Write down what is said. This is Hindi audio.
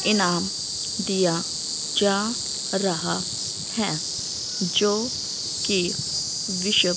इनाम दिया जा रहा है जो की --